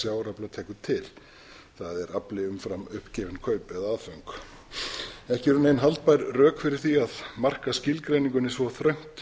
tekur til það er afli umfram uppgefin kaup eða aðföng ekki eru nein haldbær rök fyrir því að marka skilgreiningunni svo þröngt